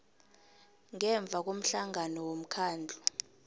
ngemva komhlangano womkhandlu